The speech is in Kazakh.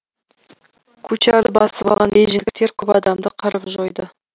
кучарды басып алған бейжіңдіктер көп адамды қырып жойды